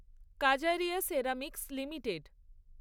Kajaria ceramics limited